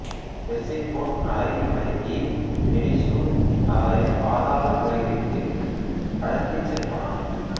Persephone அழகில் மயங்கிய Hades அவரை பாதாள உலகிற்கு கடத்திச்சென்றான்